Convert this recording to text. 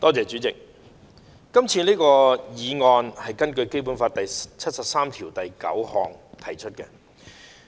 主席，這項議案是根據《基本法》第七十三條第九項提出的。